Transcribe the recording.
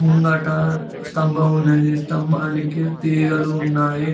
ముంగట స్తంభం ఉన్నది స్తంభానికి తీగలు ఉన్నాయి.